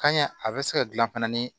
Kan ɲɛ a bɛ se ka dilan fana ni